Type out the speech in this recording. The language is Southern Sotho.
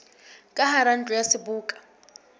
ka hara ntlo ya seboka